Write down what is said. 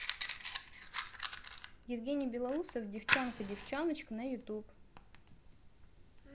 евгений белоусов девчонка девчоночка на ютуб